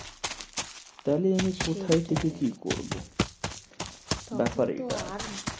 তাহলে আমি কোথায় থেকে কি করবো, ব্যাপার এটাই।